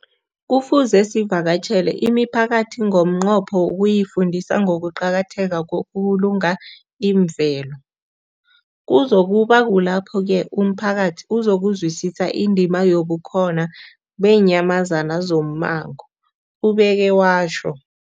Kufuze sivakatjhele imiphakathi ngomnqopho wokuyifundisa ngokuqakatheka kokubulunga imvelo. Kuzoku ba kulapho-ke umphakathi uzokuzwisisa indima yobukhona beenyamazana zommango, ubeke watjho.